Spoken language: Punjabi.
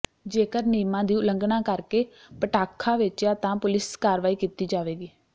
ਜੇਕਰ ਨਿਯਮਾਂ ਦੀ ਉਲੰਘਣਾ ਕਰਕੇ ਪਟਾਖ਼ਾ ਵੇਚਿਆ ਤਾਂ ਪੁਲਿਸ ਕਾਰਵਾਈ ਕੀਤੀ ਜਾਵੇਗੀ